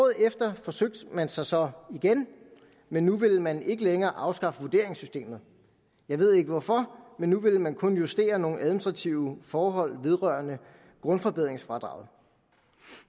efter forsøgte man sig så igen men nu ville man ikke længere afskaffe vurderingssystemet jeg ved ikke hvorfor men nu ville man kun justere nogle administrative forhold vedrørende grundforbedringsfradraget